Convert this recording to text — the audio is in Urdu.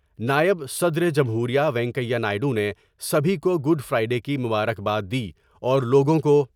نائب صدر جمہوریہ وینکیا نائیڈو نے سبھی کو گڈ فرائی ڈے کی مبارکباد دی اور لوگوں کو